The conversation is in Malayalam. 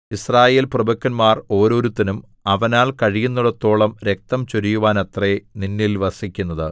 യിസ്രായേൽ പ്രഭുക്കന്മാർ ഓരോരുത്തനും അവനാൽ കഴിയുന്നിടത്തോളം രക്തം ചൊരിയുവാനത്രേ നിന്നിൽ വസിക്കുന്നത്